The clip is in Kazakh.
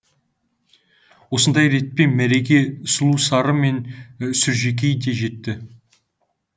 осындай ретпен мәреге сұлусары мен сүржекей де жетті